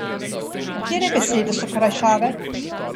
Katere besede so krajšave?